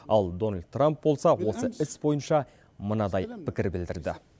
ал дональд трамп болса осы іс бойынша мынадай пікір білдірді